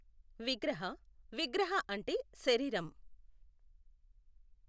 విగ్రహ, విగ్రహ అంటే శరీరం.